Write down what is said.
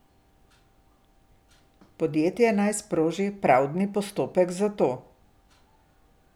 Podjetje naj sproži pravdni postopek za to.